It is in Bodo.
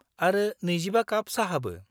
आरो 25 काप साहाबो।